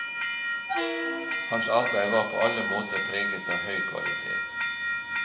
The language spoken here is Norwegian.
Hans arbeid var på alle områder preget av høy kvalitet.